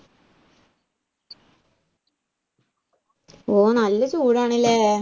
ഓ നല്ല ചൂടാണ് ഇല്ലേ